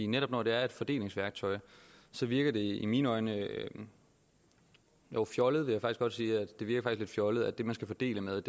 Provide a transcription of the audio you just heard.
netop når det er et fordelingsværktøj virker det i mine øjne fjollet vil jeg godt sige det virker faktisk lidt fjollet at det man skal fordele med